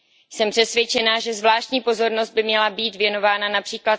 Jsem přesvědčena, že zvláštní pozornost by měla být věnována např.